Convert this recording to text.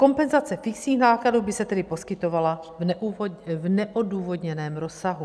Kompenzace fixních nákladů by se tedy poskytovala v neodůvodněném rozsahu.